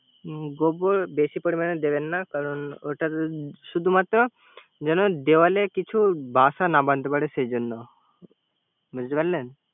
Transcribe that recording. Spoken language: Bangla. গোবর বেশি পরিমানে দিবেন না । কারন ওটা শূধুমাত্র যেন দেওয়ালে কিছু বাসা না বানাতে পারে সেজন্য